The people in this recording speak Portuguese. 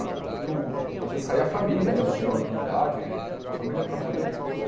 Eu às vezes saía a família, né, o senhor de idade, com a família para poder.